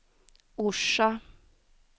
Orsa